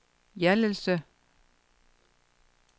Hjallelse